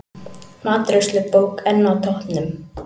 Matreiðslubók enn á toppnum